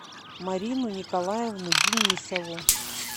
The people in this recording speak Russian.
марину николаевну денисову